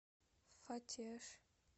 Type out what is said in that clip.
фатеж